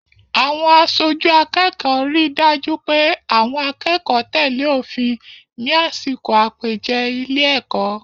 Àwọn aṣojú akẹ́kọ̀ọ́ rí dájú pé àwọn akẹ́kọ̀ọ́ tẹ̀lé òfin ní àsìkò àpèjẹ ilé-èkọ́.